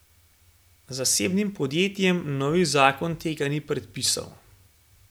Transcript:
Zasebnim podjetjem novi zakon tega ni predpisal.